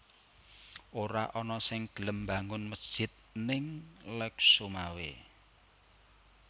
Ora ana sing gelem mbangun mesjid ning Lhokseumawe